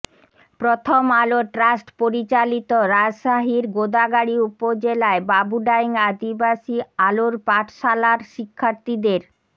প্রথম আলো ট্রাস্ট পরিচালিত রাজশাহীর গোদাগাড়ী উপজেলায় বাবুডাইং আদিবাসী আলোর পাঠশালার শিক্ষার্থীদের